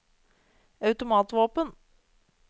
automatvåpen